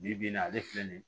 Bi bi in na ale filɛ nin ye